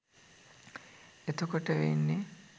එතකොට වෙන්නෙ